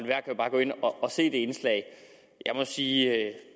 se det indslag jeg må sige at